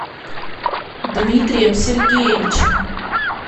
дмитрием сергеевичем